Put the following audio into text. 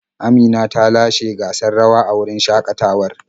Amina ta lashe gasar rawa a wurin shakatawar.